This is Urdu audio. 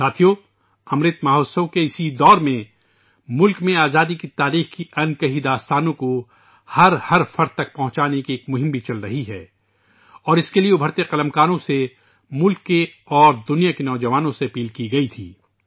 دوستو ، امرت مہوتسو کے اس دور میں ملک میں آزادی کی تاریخ کی ان کہی کہانیوں کو عوام تک پہنچانے کی ایک مہم بھی چل رہی ہے اور اس کے لیے ابھرتے ہوئے مصنفوں کو ، ملک اور دنیا کے نوجوانوں سے اپیل کی گئی تھی